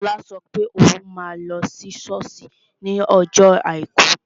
Shola sọ pé òun máa lọ sí sọ́ọ̀sì ní ọjọ́ àìkú